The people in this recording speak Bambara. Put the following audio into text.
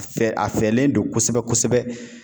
Fɛ a fɛlen don kosɛbɛ-kosɛbɛ.